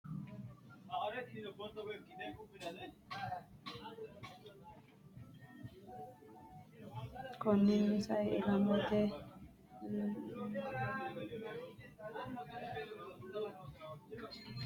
Konninnino sao ilamate lii’lu giddooydi jawaante uyitannotenna meessa- neete aggaxxinanni gede assitanno wolqaati Konninnino sao ilamate lii’lu giddooydi jawaante uyitannotenna.